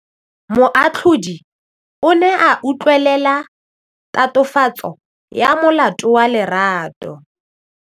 Moatlhodi o ne a utlwelela tatofatsô ya molato wa Lerato.